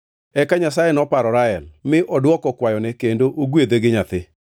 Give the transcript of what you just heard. Eka Nyasaye noparo Rael, mi odwoko kwayone kendo ogwedhe gi nyathi.